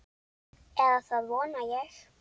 Eða það vona ég,